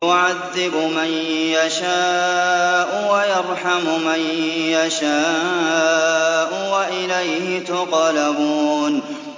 يُعَذِّبُ مَن يَشَاءُ وَيَرْحَمُ مَن يَشَاءُ ۖ وَإِلَيْهِ تُقْلَبُونَ